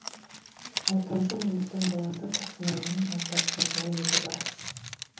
ортаншы ұлымыздың баласы тұрсынәлінің аздап жазуға ебі бар